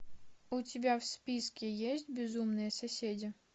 у тебя в списке есть безумные соседи